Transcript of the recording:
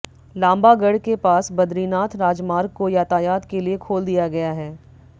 लांबागढ़ के पास बद्रीनाथ राजमार्ग को यातायात के लिए खोल दिया गया है